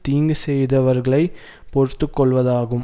தீங்கு செய்தவர்களை பொறுத்துக்கொள்வதாகும்